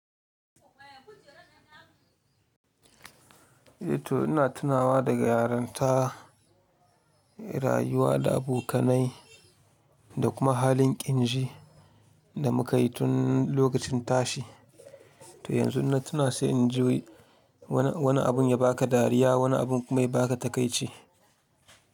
Ato ina tunawa daga yarinta, rayuwa da abokanai da kuma halin ƙinji da muka yi tun lokacin tashi. To yanzu inna tuna sai in ji wani abun ya ba ka dariya, wani abun kuma ya ba ka takaici.